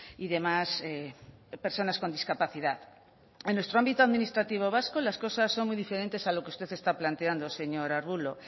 y demás personas con discapacidad en nuestro ámbito administrativo vasco las cosas son muy diferentes a lo que usted está planteando señor arbulo